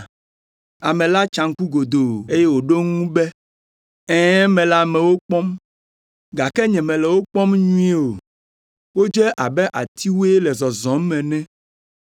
Ame la tsa ŋku godoo, eye wòɖo eŋu be, “Ɛ̃, mele amewo kpɔm, gake nyemele wo kpɔm nyuie o, wodze abe atiwoe le zɔzɔm ene!”